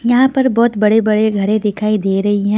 यहां पर बहुत बड़े-बड़े घरे दिखाई दे रहे हैं.